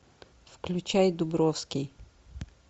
включай дубровский